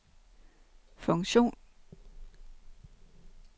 funktion